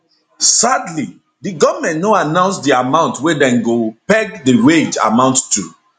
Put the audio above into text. sadly di goment no announce di amount wey dem go peg di wage amount to